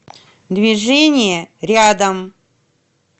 движение рядом